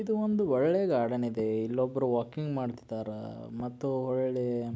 ಇದು ಒಂದು ಒಳ್ಳೆ ಗಾರ್ಡನ್ ಇದೆ ಇಲ್ಲೊಬ್ಬರು ವಾಕಿಂಗ್ ಮಾಡ್ತಿದಾರಾ ಮತ್ತು ಒಳ್ ಒಳ್ಳೆ --